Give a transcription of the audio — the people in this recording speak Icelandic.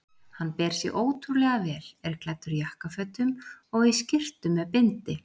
Hann ber sig ótrúlega vel, er klæddur jakkafötum og í skyrtu með bindi.